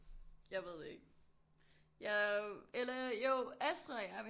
Jeg ved ikke jeg eller jo Astrid og jeg